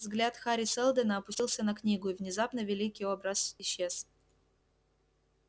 взгляд хари сэлдона опустился на книгу и внезапно великий образ исчез